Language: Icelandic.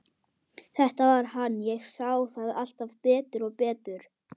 Hvað heldurðu að hann Lási segði, ha, Lóa-Lóa, kallaði hún.